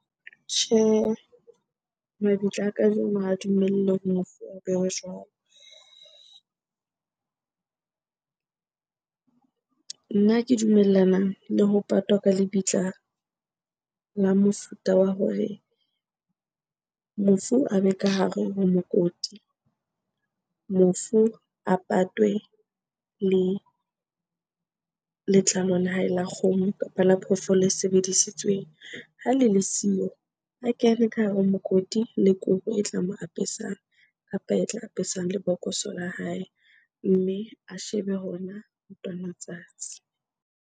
Tjhehe, mabitla a kajeno ha dumelle hore mofu bewe jwalo. Nna ke dumellana le ho patwa ka lebitla la mofuta wa hore mofu a be ka hare ho mokoti, mofu a patwe le letlalo la hae la kgomo kapa la phoofolo e sebedisitsweng. Ha le le siyo, a kene ka hare ho mokoti le kobo e tla mo apesang, kapa e tla apesang lebokoso la hae. Mme a shebe hona ntwanatsatsi.